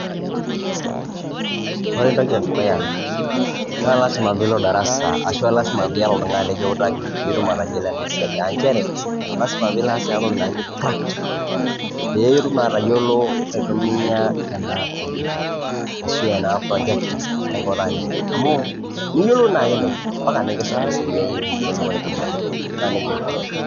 Kore entoki edukuya naa lazima piilo darasa ashu a lazima piata oltung'ani lekiutaki piitum atayiolo ena siai a nchere lazima piilo aas ena toki naji practical, pee itum atayiolo aitumia ena komputa ashu ena projector aikunaa neija amu miyolou naake neja mpaka nekisomeshai pee iyolou aitumia naa neija ikunari.